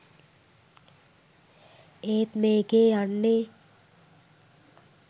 ඒත් මේකේ යන්නේ